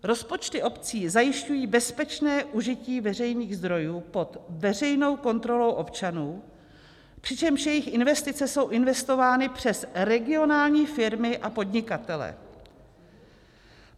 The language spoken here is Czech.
Rozpočty obcí zajišťují bezpečné užití veřejných zdrojů pod veřejnou kontrolou občanů, přičemž jejich investice jsou investovány přes regionální firmy a podnikatele.